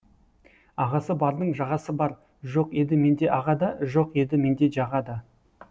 ағасы бардың жағасы бар жоқ еді менде аға да жоқ еді менде жаға да